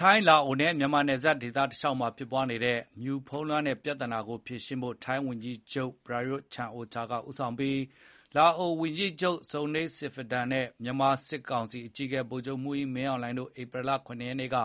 ထိုင်း-လာအိုနဲ့ မြန်မာ နယ်စပ်ဒေသတကျော မီးခိုးမြူဖုံးလွှမ်းတဲ့ပြဿနာကို ဖြေရှင်းဖို့ ထိုင်းဝန်ကြီးချုပ် ပရာရွသ် ချန်အိုချာ ဦးဆောင်ပြီး လာအိုဝန်ကြီးချုပ် Sonexay Siphandone နဲ့ မြန်မာစစ်ကောင်စီအကြီးအကဲ ဗိုလ်ချုပ်မှူးကြီး မင်းအောင်လှိုင်တို့နဲ့ ဧပြီလ ၇ ရက်နေ့က